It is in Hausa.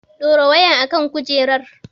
Dora wayar a kan kujerar!